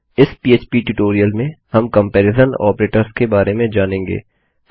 इस पह्प ट्यूटोरियल में हम कम्पेरिज़न तुलनात्मक ऑपरेटर्स के बारे में जानेंगे